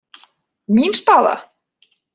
Mín staða?